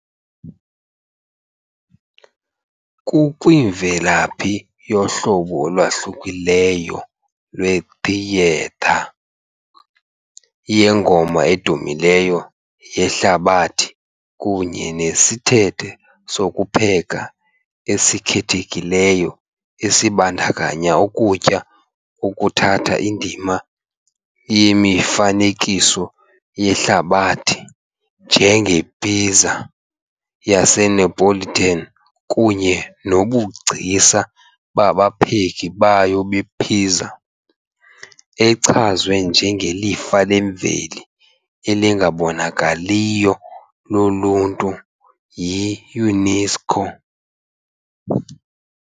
Kukwimvelaphi yohlobo olwahlukileyo lwethiyetha, yengoma edumileyo yehlabathi kunye nesithethe sokupheka esikhethekileyo esibandakanya ukutya okuthatha indima yemifanekiso yehlabathi, njengePizza yaseNeapolitan kunye nobugcisa babapheki bayo be-pizza, echazwe njengelifa lemveli elingabonakaliyo loluntu yi-UNESCO.